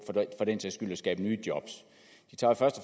at skabe nye jobs de tager først og